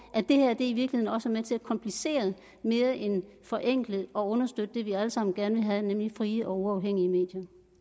at det her i virkeligheden også er med til at komplicere mere end forenkle og understøtte det vi alle sammen gerne vil have nemlig frie og uafhængige